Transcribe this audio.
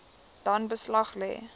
dan beslag lê